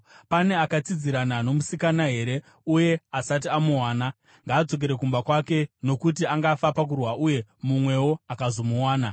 Pane akatsidzirana nomusikana here uye asati amuwana? Ngaadzokere kumba kwake, nokuti angafa pakurwa uye mumwewo akazomuwana.”